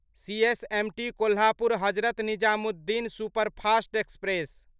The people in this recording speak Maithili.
CSMT Kolhapur Hazrat Nizamuddin superfast express